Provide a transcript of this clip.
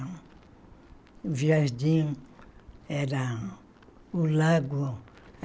O jardim era o lago.